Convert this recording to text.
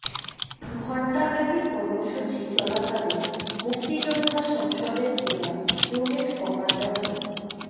ঘণ্টাব্যাপী কর্মসূচি চলাকালে মুক্তিযোদ্ধা সংসদের জেলা ইউনিট কমান্ডার মো